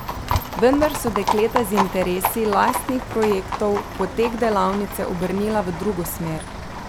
Vendar so dekleta z interesi lastnih projektov potek delavnice obrnila v drugo smer.